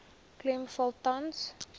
klem val tans